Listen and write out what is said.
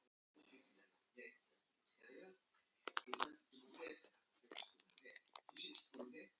Einhver kona sendi mér þetta.